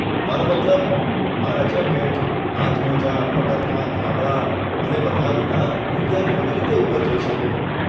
મારો મતલબ, મારા જેકેટ, હાથમોજાં, પગરખાં, ધાબળા અને બધા વિના, હું ત્યાં કેવી રીતે ઉપર જઈ શકું?